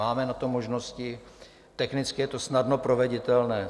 Máme na to možnosti, technicky je to snadno proveditelné.